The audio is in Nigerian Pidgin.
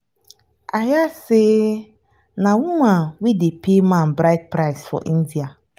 i hear say na woman wey dey pay man bride price for india